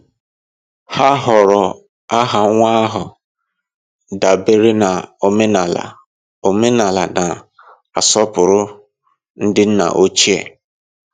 Ha họọrọ aha nwa ahụ dabere na omenala omenala na-asọpụrụ ndị nna ochie.